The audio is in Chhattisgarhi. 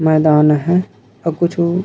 मैदान आहय अऊ कुछु--